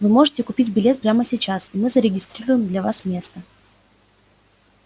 вы можете купить билет прямо сейчас и мы зарегистрируем для вас место